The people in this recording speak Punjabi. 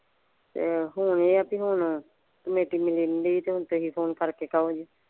ਤੇ ਹੁਣ ਇਹ ਆ ਵੀ ਹੁਣ ਮਿਲਣ ਡਈ ਆ ਤੇ ਹੁਣ ਤੈਨੂੰ ਫ਼ੋਨ ਕਰਕੇ ਕਹੋ ਜੀ।